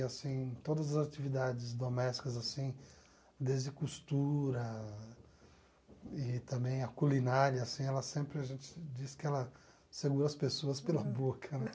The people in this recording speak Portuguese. E assim, todas as atividades domésticas, assim, desde costura e também a culinária, assim, ela sempre, a gente diz que ela segura as pessoas pela boca, né?